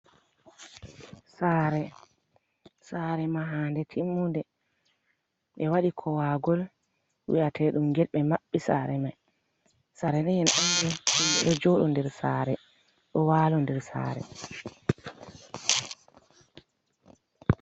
Sare, sare mahande timmunde ɓe waɗi kowagol wi'atedum get ɓe maɓɓi sare mai, sare man ba en andi himɓɓe ɗo joɗa nder sare, ɗo walo nder sare.